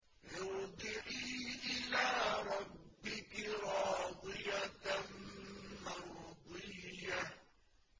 ارْجِعِي إِلَىٰ رَبِّكِ رَاضِيَةً مَّرْضِيَّةً